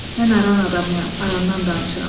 Mən aran adamıyam, arandan danışıram.